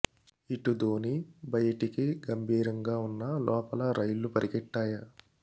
ఇటు ధోనీ బయటికి గంభీరంగా ఉన్నా లోపల రైళ్లు పరిగెట్టాయ